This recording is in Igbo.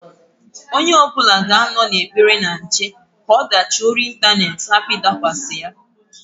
Onye ọbụna ga-anọ n'ekpere na nche ka ọdachị ori intanet hapụ ịdakwasa ya.